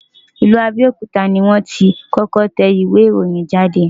Ìlú Abẹ́òkúta ni wọ́n ti kọ́kọ́ tẹ ìwé ìròyìn jáde.